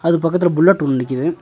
அது பக்கத்துல ஒரு புல்லட் ஒன்னு நிக்கிது.